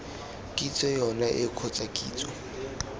kitso yone eo kgotsa kitso